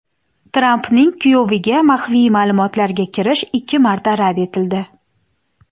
Trampning kuyoviga maxfiy ma’lumotlarga kirish ikki marta rad etildi.